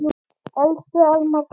Elsku Almar Hrafn.